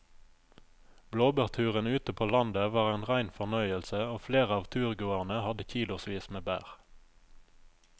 Blåbærturen ute på landet var en rein fornøyelse og flere av turgåerene hadde kilosvis med bær.